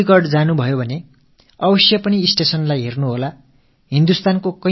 உங்களுக்கும் அலீகட் செல்லும் வாய்ப்பு ஏற்பட்டால் அவசியம் ரயில் நிலையம் சென்று பாருங்கள்